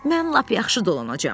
Mən lap yaxşı dolanacam.